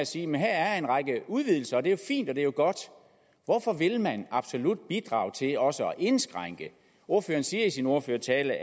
sige her er en række udvidelser og det er fint og det er godt hvorfor vil man absolut bidrage til også at indskrænke ordføreren siger i sin ordførertale